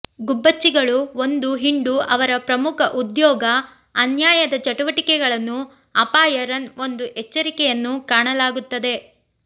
ಗುಬ್ಬಚ್ಚಿಗಳು ಒಂದು ಹಿಂಡು ಅವರ ಪ್ರಮುಖ ಉದ್ಯೋಗ ಅನ್ಯಾಯದ ಚಟುವಟಿಕೆಗಳನ್ನು ಅಪಾಯ ರನ್ ಒಂದು ಎಚ್ಚರಿಕೆಯನ್ನು ಕಾಣಲಾಗುತ್ತದೆ